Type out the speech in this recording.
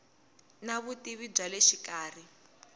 na vutivi bya le xikarhi